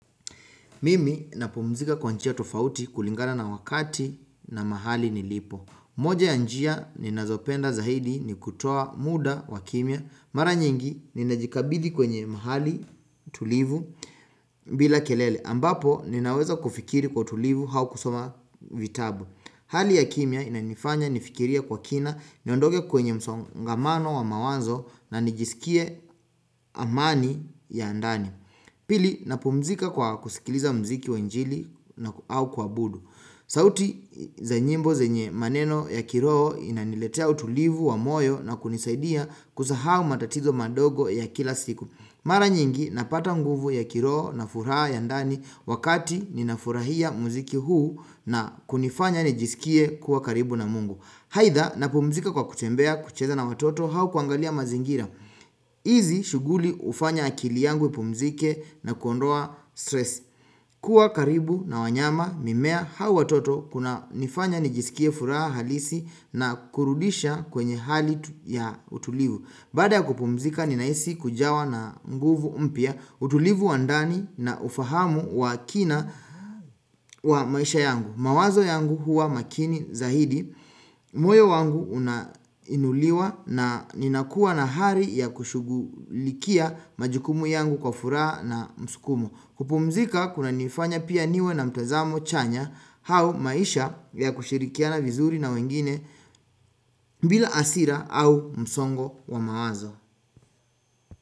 Mimi napumzika kwa njia tofauti kulingana na wakati na mahali nilipo. Moja ya njia ninazopenda zaidi ni kutoa muda wa kimya. Mara nyingi ninajikabidhi kwenye mahali tulivu bila kelele. Ambapo ninaweza kufikiri kwa utulivu au kusoma vitabu. Hali ya kimya inanifanya nifikirie kwa kina niondoke kwenye msongamano wa mawazo na nijisikie amani ya ndani. Pili napumzika kwa kusikiliza mziki wa injili au kuabudu. Sauti za nyimbo zenye maneno ya kiroho inaniletea utulivu wa moyo na kunisaidia kusahau matatizo madogo ya kila siku. Mara nyingi napata nguvu ya kiroho na furaha ya ndani wakati ninafurahia mziki huu na kunifanya nijisikie kuwa karibu na mungu. Aidha napumzika kwa kutembea kucheza na watoto au kuangalia mazingira hizi shughuli hufanya akili yangu ipumzike na kuondoa stress kuwa karibu na wanyama mimea au watoto kunanifanya nijisikie furaha halisi na kurudisha kwenye hali ya utulivu Baada ya kupumzika ninahisi kujawa na nguvu mpya utulivu wa ndani na ufahamu wa kina wa maisha yangu mawazo yangu huwa makini zaidi, moyo wangu una inuliwa na ninakua na hali ya kushugulikia majukumu yangu kwa furaha na msukumo kupumzika kunanifanya pia niwe na mtazamo chanya au maisha ya kushirikiana vizuri na wengine bila hasira au msongo wa mawazo.